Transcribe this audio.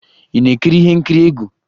Ị na-ekiri ihe nkiri egwu?